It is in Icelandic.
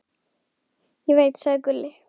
Ég veit, sagði Gulli.